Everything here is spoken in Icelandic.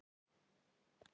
Í hvaða borg?